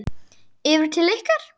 Yfir til ykkar?